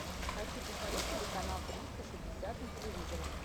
хочу посмотреть телеканал триста шестьдесят на телевизоре